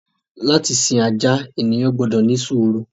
Látì sí àjà, ènìyàn gbọdọ ni súùrù.